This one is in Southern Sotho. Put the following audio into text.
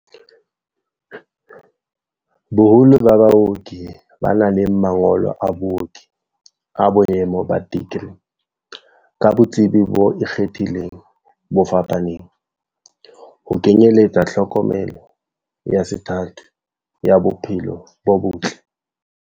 Boholo ba baoki ba na le mangolo a booki a boemo ba dikri, ka botsebi bo ikgethileng bo fapaneng, ho kenyeletsa tlhokomelo ya sethatho ya bo phelo bo botle.